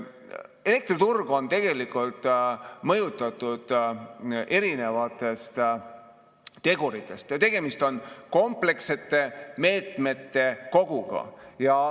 Elektriturg on tegelikult mõjutatud erinevatest teguritest, tegemist on komplekssete meetmete koguga.